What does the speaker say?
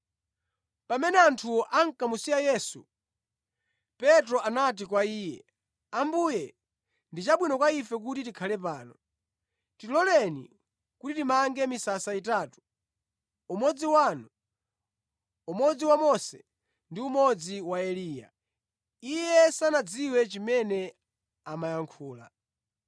Pamene anthuwo ankamusiya Yesu, Petro anati kwa Iye, “Ambuye, ndi chabwino kwa ife kuti tikhale pano. Tiloleni kuti timange misasa itatu, umodzi wanu, umodzi wa Mose ndi umodzi wa Eliya.” (Iye sanadziwe chimene amayankhula).